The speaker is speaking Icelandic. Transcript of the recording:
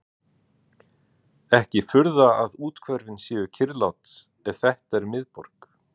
Ekki furða að úthverfin séu kyrrlát ef þetta er miðborg